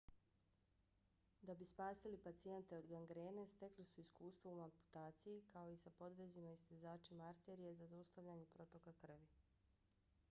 da bi spasili pacijente od gangrene stekli su iskustvo u amputaciji kao i sa podvezima i stezačima arterije za zaustavljanje protoka krvi